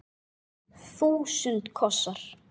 Þúsund kossar.